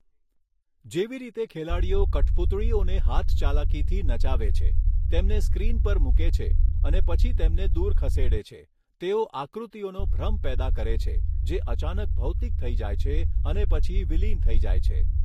જેવી રીતે ખેલાડીઓ કઠપૂતળીઓને હાથચાલાકીથી નચાવે છે, તેમને સ્ક્રીન પર મૂકે છે અને પછી તેમને દૂર ખસેડે છે, તેઓ આકૃતિઓનો ભ્રમ પેદા કરે છે, જે અચાનક ભૌતિક થઈ જાય છે અને પછી વિલીન થઈ જાય છે.